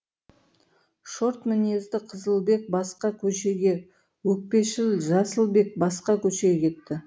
шорт мінезді қызылбек басқа көшеге өкпешіл жасылбек басқа көшеге кетті